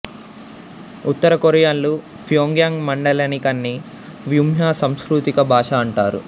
ఉత్తర కొరియన్లు ప్యోంగ్యాంగ్ మండలికాన్ని ముంహ్వా సాంస్కృతిక భాష అంటారు